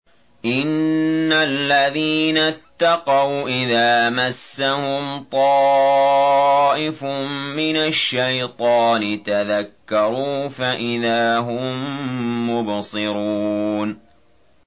إِنَّ الَّذِينَ اتَّقَوْا إِذَا مَسَّهُمْ طَائِفٌ مِّنَ الشَّيْطَانِ تَذَكَّرُوا فَإِذَا هُم مُّبْصِرُونَ